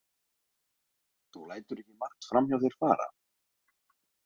Þú lætur ekki margt fram hjá þér fara.